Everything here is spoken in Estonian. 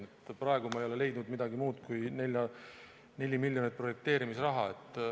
Sest praegu ma ei ole leidnud midagi muud kui neli miljonit projekteerimisraha.